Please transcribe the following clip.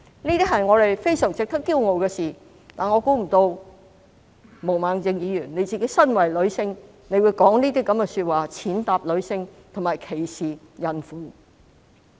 這些是我們非常值得驕傲的事，但我想不到毛孟靜議員身為女性會說出這樣的話，踐踏女性及歧視孕婦。